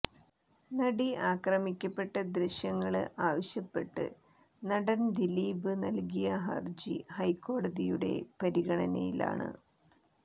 നടി ആക്രമിക്കപ്പെട്ട ദൃശ്യങ്ങള് ആവശ്യപ്പെട്ട് നടന് ദിലീപ് നല്കിയ ഹര്ജി ഹൈക്കോടതിയുടെ പരിഗണനയിലാണ്